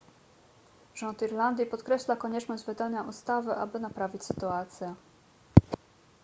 rząd irlandii podkreśla konieczność wydania ustawy aby naprawić sytuację